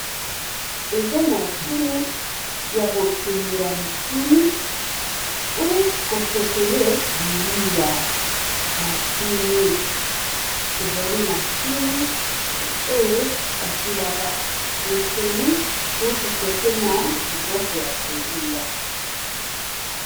Eza mashini ya kotumbela misuni ou ko chauffele biliyia, mashini ezali mashini oyo batumbaka misuni ou ko chauffé n'a biloko ya kolia.